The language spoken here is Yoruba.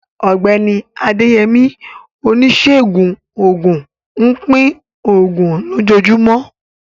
Ọ̀gbẹ́ni Adeyemi, oníṣègùn òògùn, ń pín àwọn oògùn lójoojúmọ́.